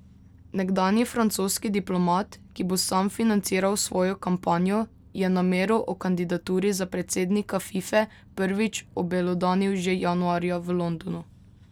Nekdanji francoski diplomat, ki bo sam financiral svojo kampanjo, je namero o kandidaturi za predsednika Fife prvič obelodanil že januarja v Londonu.